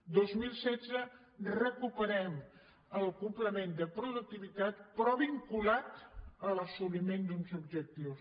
el dos mil setze recuperem el complement de productivitat però vinculat a l’assoliment d’uns objectius